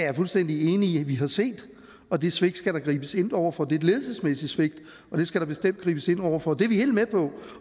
jeg fuldstændig enig i at vi har set og det svigt skal der gribes ind over for det er et ledelsesmæssigt svigt det skal der bestemt gribes ind over for det er vi helt med på